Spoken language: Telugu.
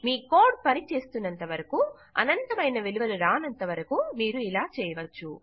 మీ కోడ్ పనిచేస్తున్నంత వరకూ అనంతమైన విలువలు రానంతవరకూ మీరు ఇలా చేయవచ్చు